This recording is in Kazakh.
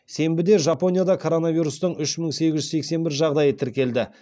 сенбіде жапонияда коронавирустың үш мың сегіз жүз сексен бір жағдайы тіркелді